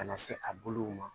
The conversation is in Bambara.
Ka na se a bolow ma